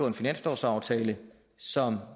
en finanslovsaftale som